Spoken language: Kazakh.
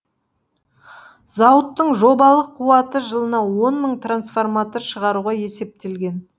зауыттың жобалық қуаты жылына он мың трансформатор шығаруға есептелген